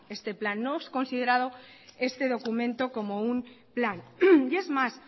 este plan no es considerado este documento como un plan y es más